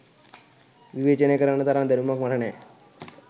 විවේචනය කරන්න තරම් දැනුමක් මට නෑ